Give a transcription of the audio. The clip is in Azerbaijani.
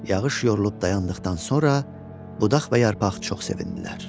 Yağış yorulub dayandıqdan sonra budaq və yarpaq çox sevindilər.